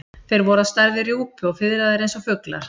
Þeir voru á stærð við rjúpu og fiðraðir eins og fuglar.